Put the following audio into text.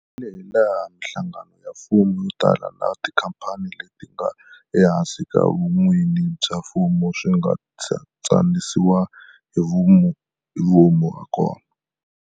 Hilaha mihlangano ya mfumo yo tala na tikhamphani leti nga ehansi ka vun'wini bya mfumo swi nga tsanisiwa hi vomu hakona.